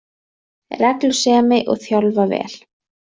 Reglusemi, og þjálfa vel